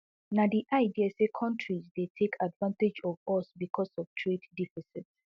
na di idea say kontris dey take advantage of us becos of trade deficit